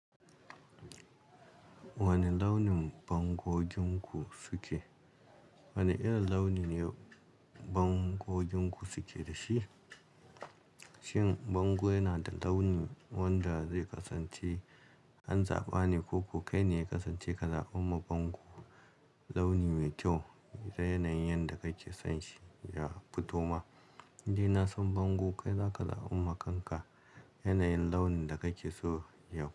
Wane launin fankokinku suke? Wane irin launi ne bangoginku suke da shi? Shin bango yana da launi wanda zai kasance an zaɓa ne ko ko kai ne ya kasance ka zaɓamma bango launi mai kyau da yanayin yadda kake son shi ya fito ma? In dai na san bango kai za ka za'ummaka yanayin launin da kake so ya.